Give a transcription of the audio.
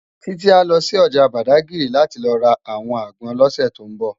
Titi á lò si òjá Bádágiri láti lò rá áwòn ágbòn lòsè tó nbò